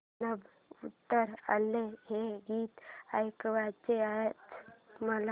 नभं उतरू आलं हे गीत ऐकायचंय आज मला